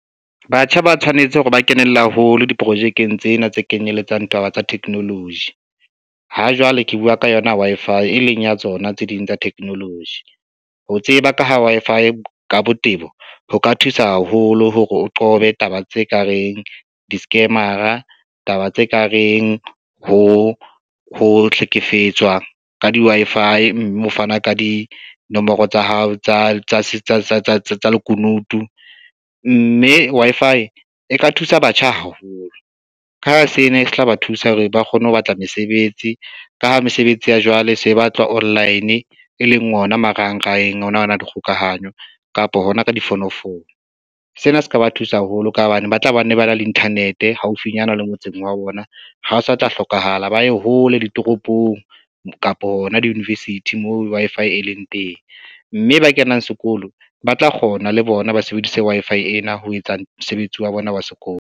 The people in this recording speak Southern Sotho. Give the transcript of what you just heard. Batjha ba tshwanetse hore ba kenella haholo diprojekeng tsena tse kenyelletsang taba tsa technology. Ha jwale ke bua ka yona Wi-Fi e leng ya tsona tse ding tsa technology. Ho tseba ka ho Wi-Fi ka botebo ho ka thusa haholo hore o qobe taba tse ka reng di-scammer-a, taba tse kareng ho hlekefetswa ka di Wi-Fi, mme ho fana ka dinomoro tsa hao tsa lekunutu, mme Wi-Fi e ka thusa batjha haholo ka ha sena se tla ba thusa hore ba kgone ho batla mesebetsi, ka ha mesebetsi ya jwale e se batlwa online e leng ona marangrangeng ona ana a dikgokahanyo kapo hona ka difonofono. Sena se ka ba thusa haholo ka hobane ba tla ba ne ba na le internet e haufinyana le motseng wa bona, ha o sa tla hlokahala ba ye hole ditoropong kapa hona di-university moo Wi-Fi e leng teng, mme ba kenang sekolo ba tla kgona le bona, ba sebedise Wi-Fi ena ho etsa mosebetsi wa bona wa sekolo.